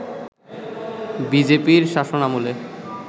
বিজেপির শাসনামলে